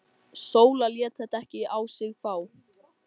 Sóla lét þetta ekki á sig fá.